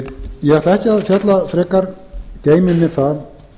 ég ætla ekki að fjalla frekar geymi mér það